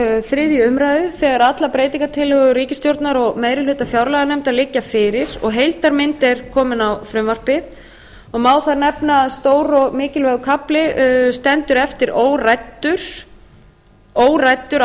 þriðju umræðu þegar allar breytingartillögur ríkisstjórnar og meiri hluta fjárlaganefndar liggja fyrir og heildarmynd er komin á frumvarpið má þar nefna að stór og mikilvægur kafli stendur eftir óræddur